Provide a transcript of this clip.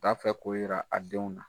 B'a fɛ ko yira a denw na.